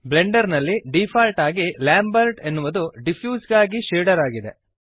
ಬ್ಲೆಂಡರ್ನಲ್ಲಿ default ಆಗಿ Lambert ಎನ್ನುವುದು diffuse ಗಾಗಿ ಶೇಡರ್ ಆಗಿದೆ